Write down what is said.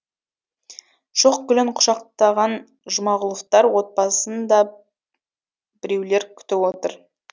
шоқ гүлін құшақтаған жұмағұловтар отбасын да біреулер күтіп отыр